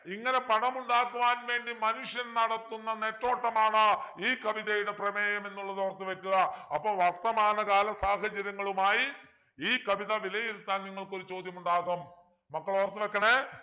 ഇങ്ങനെ പണമുണ്ടാക്കുവാൻ വേണ്ടി മനുഷ്യൻ നടത്തുന്ന നെട്ടോട്ടമാണ് ഈ കവിതയുടെ പ്രമേയം എന്നുള്ളത് ഓർത്തു വെക്കുക അപ്പൊ വർത്തമാനകാല സാഹചര്യങ്ങളുമായി ഈ കവിത വിലയിരുത്താൻ നിങ്ങൾക്കൊരു ചോദ്യമുണ്ടാകും മക്കൾ ഓർത്തു വെക്കണേ